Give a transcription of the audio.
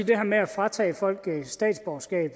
det her med at fratage folk statsborgerskab